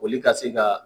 Olu ka se ka